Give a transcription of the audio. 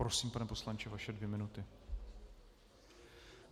Prosím, pane poslanče, vaše dvě minuty.